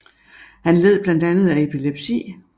Han led blandt andet af epilepsi